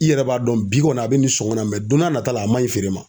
I yɛrɛ b'a dɔn bi kɔni a be ni sɔ la don n'a nata la a man ɲi feere ma.